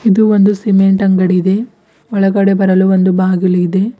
ಇದು ಒಂದು ಸಿಮೆಂಟ್ ಅಂಗಡಿ ಇದೆ ಒಳಗಡೆ ಬರಲು ಒಂದು ಬಾಗಿಲು ಇದೆ.